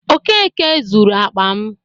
Okeke zuru akpa m.